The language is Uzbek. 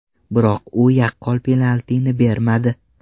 Biroq u yaqqol penaltini bermadi.